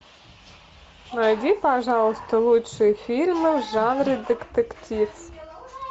найди пожалуйста лучшие фильмы в жанре детектив